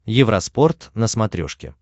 евроспорт на смотрешке